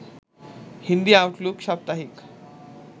Hindi Outlook সাপ্তাহিক